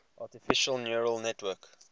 artificial neural network